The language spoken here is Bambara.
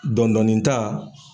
Dɔɔnidɔɔni ta.